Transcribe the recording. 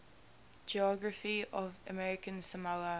geography of american samoa